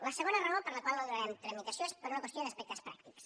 la segona raó per la qual no hi donarem tramitació és per una qüestió d’aspectes pràctics